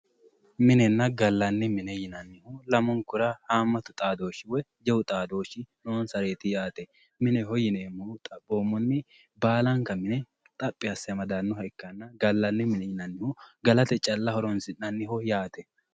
Minenna gallanni mine yinanni lamunkura haammattu xaadooshshi woyi jawu xaadooshshi noonsareeti yaate mineho yineemmohu baalanka mine xaphi asse amadannoha ikkanna gallannihu gallaanniha calla ikkanna galate horoonsi'nanniho yaate